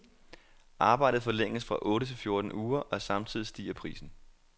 Arbejdet forlænges fra otte til fjorten uger, og samtidig stiger prisen.